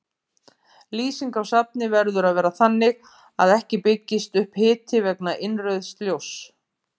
Lýsing á safni verður að vera þannig að ekki byggist upp hiti vegna innrauðs ljóss.